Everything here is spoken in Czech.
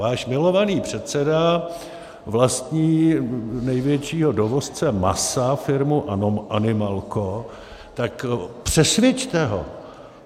Váš milovaný předseda vlastní největšího dovozce masa, firmu Animalco, tak přesvědčte ho.